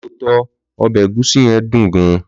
Lọtọ, obe egusi yen dùn gan.